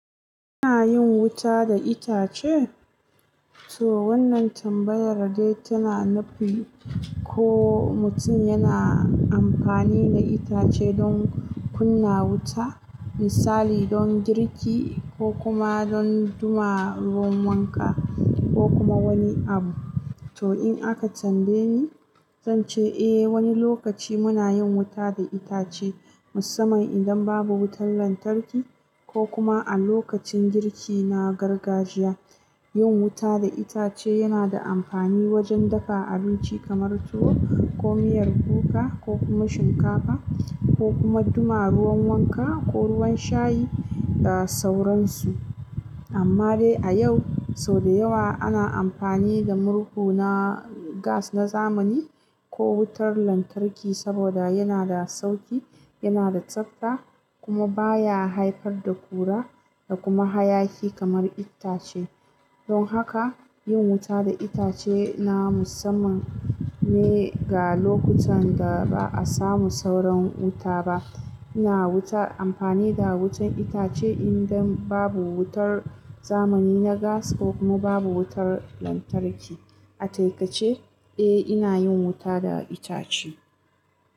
Ina yin wuta da itace? To wannan tambayar dai tana nufi ko mutum yana amfani da itace don kunna wuta, misali don girki ko kuma don duma ruwan wanka ko kuma wani abu. To in aka tambaye ni, zan ce eh wani lokaci muna yin wuta da itace, musamman idan babu wutar lantarki ko kuma a lokacin girki na gargajiya. Yin wuta da itace yana da amfani wajen dafa abinci kamar tuwo ko miyar kuka ko kuma shinkafa, ko kuma duma ruwan wanka ko ruwan shayi da sauransu. Amma dai a yau, sau da yawa ana amfani da murhu na gas na zamani ko wutar lantarki saboda yana da sauƙi, yana da tsabta kuma baya haifar da ƙura da kuma hayaki kamar itace. Don haka yin wuta da itace na musamman ne ga lokutan da ba'a samu sauran wuta ba. Ina wuta amfani da wutar itace idan babu wutar zamani na gas ko kuma babu wutar lantarki. A taƙaice, eh ina yin wuta da itace.